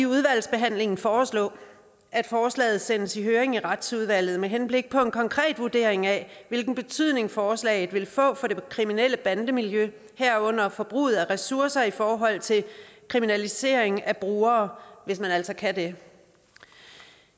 udvalgsbehandlingen foreslå at forslaget sendes i høring i retsudvalget med henblik på en konkret vurdering af hvilken betydning forslaget vil få for det kriminelle bandemiljø herunder forbruget af ressourcer i forhold til kriminalisering af brugere hvis man altså kan det